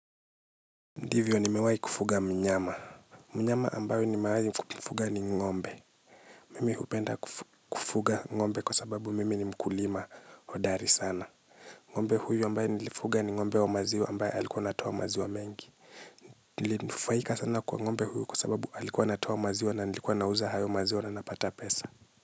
Ndivyo nimewai kufuga mnyama. Mnyama ambayo nimawai mfuga ni ngombe. Mimi hupenda kufuga ngombe kwa sababu mimi ni mkulima hodari sana. Ngombe huyu ambayo nilifuga ni ngombe wa maziwa ambayo alikuwa natoa maziwa mengi. Nilufaika sana kwa ngombe huyu kwa sababu alikuwa natoa maziwa na nilikuwa nauza hayo maziwa na napata pesa.